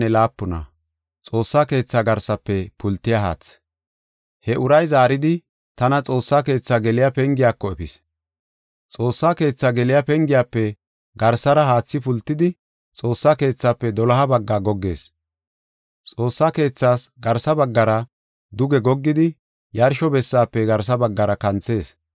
He uray zaaridi, tana Xoossa keetha geliya pengiyako efis. Xoossa keetha geliya pengiyafe garsara haathi pultidi, Xoossa keethaafe doloha bagga goggees. Xoossa keethas garsa baggara duge goggidi, yarsho bessaafe garsa baggara kanthees.